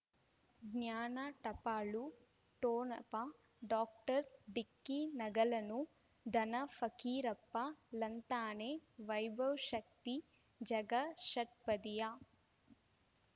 ಜ್ಞಾನ ಟಪಾಲು ಠೊಣಪ ಡಾಕ್ಟರ್ ಢಿಕ್ಕಿ ಣಗಳನು ಧನ ಫಕೀರಪ್ಪ ಳಂತಾನೆ ವೈಭವ್ ಶಕ್ತಿ ಝಗಾ ಷಟ್ಪದಿಯ